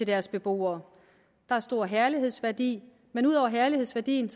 deres beboere der er stor herlighedsværdi men ud over herlighedsværdien